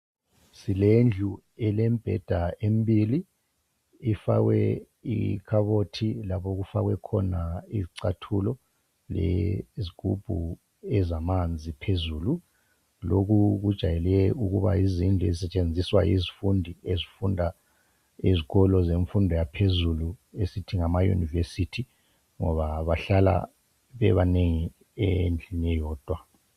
silendlu elembheda embili ifakwe ikhabothi lapho okufakwe khona izicathulo lezigubhu ezamanzi phezulu lokhu kujayele ukuba yizindlu ezisetshenziswa yizifundi ezifunda ezikolo semfundo yaphezulu esithi ngama university ngoba bahlala bebanengi endlini eyodwa